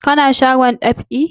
Ka na shagon dab'i?